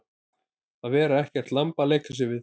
Að vera ekkert lamb að leika sér við